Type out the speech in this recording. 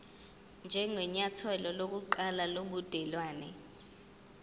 njengenyathelo lokuqala lobudelwane